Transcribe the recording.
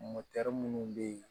minnu bɛ yen